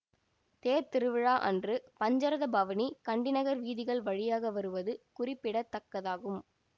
தேர்த்திருவிழா அன்று பஞ்சரத பவனி கண்டி நகர் வீதிகள் வழியாக வருவது குறிப்பிடத்தக்கதாகும்